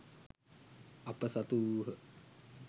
අප සතු වූහ